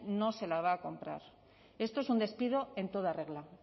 no se la va a comprar esto es un despido en toda regla